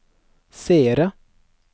seere